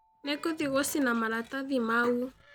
Nĩngũthiĩ gũcina maratathi mau.